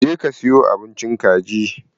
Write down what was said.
Je ka siyo abincin kaji!